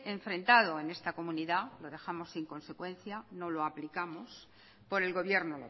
enfrentado en esta comunidad lo dejamos sin consecuencia no lo aplicamos por el gobierno